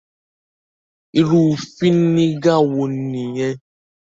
Iru fínégà wo nìyẹn?